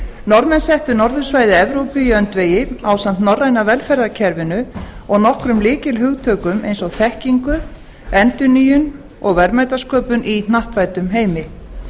norðmenn settu norðursvæði evrópu í öndvegi ásamt norræna velferðarkerfinu og nokkrum lykilhugtökum eins og þekkingu endurnýjun og verðmætasköpun í hnattvæddum heimi